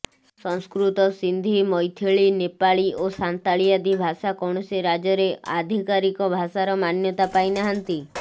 ସଂସ୍କୃତ ସିନ୍ଧୀ ମୈଥିଳୀ ନେପାଳୀ ଓ ସାନ୍ତାଳୀ ଆଦି ଭାଷା କୌଣସି ରାଜ୍ୟରେ ଆଧିକାରିକ ଭାଷାର ମାନ୍ୟତା ପାଇନାହାନ୍ତି